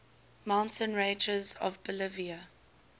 mountain ranges of bolivia